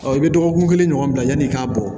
i bɛ dɔgɔkun kelen ɲɔgɔn bila yanni i k'a bɔ